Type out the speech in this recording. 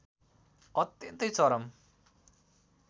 अत्यन्तै चरम